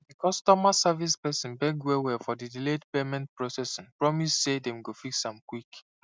di customer service person beg wellwell for di delayed payment processing promise say dem go fix am quick